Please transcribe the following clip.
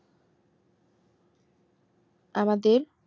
আমাদের